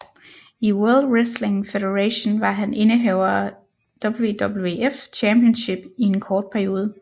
I World Wrestling Federation var han indehaver af WWF Championship i en kort periode